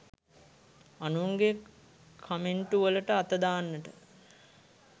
අනුන්ගේ කමෙන්ටු වලට අත දාන්නට